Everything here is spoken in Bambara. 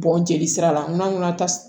Bɔn jeli sira la n'an ŋɔnɔ ta